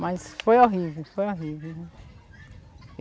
Mas foi horríve, foi horríve.